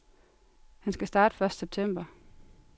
Han skal starte første september.